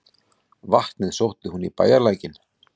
Vatnið sótti hún í bæjarlækinn.